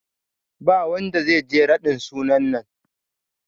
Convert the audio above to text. Ba wanda zai je raɗin sunan nan